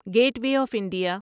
get way of India